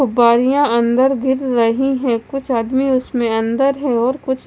फुबरिया अंदर गिर रही है कुछ आदमी इसमें अंदर है और कुछ--